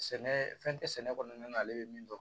Sɛnɛ fɛn tɛ sɛnɛ kɔnɔna na ale bɛ min dɔn